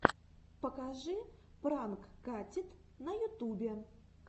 покажи пранк катит на ютубе